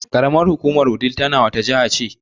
Ƙaramar hukumar Wudil ta wani jihana ne?